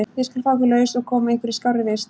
Ég skal fá ykkur laus og koma ykkur í skárri vist.